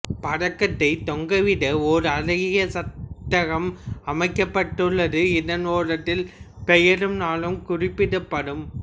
பதக்கத்தைத் தொங்கவிட ஓர் அழகிய சட்டகம் அமைக்கப்பட்டுள்ளது இதன் ஓரத்தில் பெயரும் நாளும் குறிப்பிடப்படும்